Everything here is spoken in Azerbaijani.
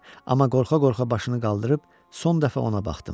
Amma qorxa-qorxa başını qaldırıb, son dəfə ona baxdım.